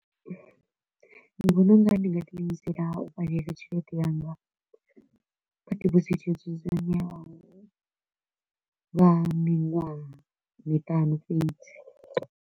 Ndi vhona u nga ri ndi nga ḓiimisela u bvalela tshelede yanga kha debosit yo dzudzanywaho lwa miṅwaha miṱanu fhedzi.